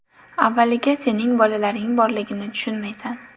Avvaliga sening bolalaring borligini tushunmaysan.